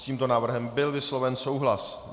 S tímto návrhem byl vysloven souhlas.